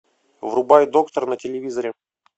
врубай доктор на телевизоре